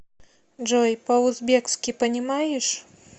джой по узбекски понимаешь